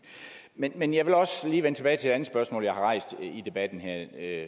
men men jeg vil også lige vende tilbage til et andet spørgsmål jeg har stillet i debatten her